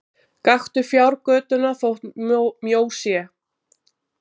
Gakktu fjárgötuna þótt mjó sé!